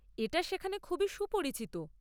এটা সেখানে খুবই সুপরিচিত।